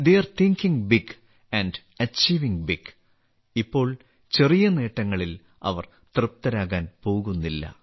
തെയ് are thinking big and achieving big ഇപ്പോൾ ചെറിയ നേട്ടങ്ങളിൽ അവർ തൃപ്തരാകാൻ പോകുന്നില്ല